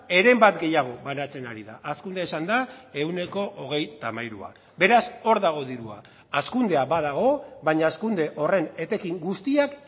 heren bat gehiago banatzen ari da hazkundea izan da ehuneko hogeita hamairua beraz hor dago dirua hazkundea badago baina hazkunde horren etekin guztiak